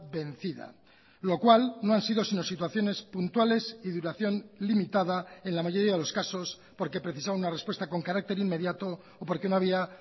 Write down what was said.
vencida lo cual no han sido sino situaciones puntuales y duración limitada en la mayoría de los casos porque precisaba una respuesta con carácter inmediato o porque no había